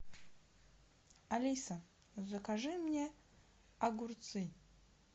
алиса закажи мне огурцы